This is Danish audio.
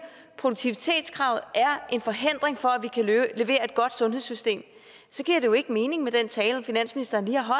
at produktivitetskravet er en forhindring for at man kan levere et godt sundhedssystem så giver det jo ikke mening med den tale finansministeren lige har